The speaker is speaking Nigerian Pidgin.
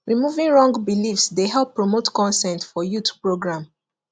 removing wrong beliefs dey help promote consent for youth program